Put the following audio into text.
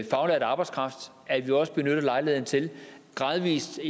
faglært arbejdskraft at vi også benytter lejligheden til gradvis